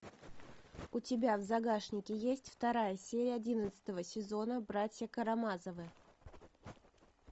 у тебя в загашнике есть вторая серия одиннадцатого сезона братья карамазовы